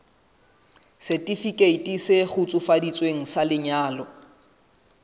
setifikeiti se kgutsufaditsweng sa lenyalo